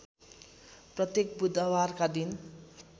प्रत्येक बुधबारका दिन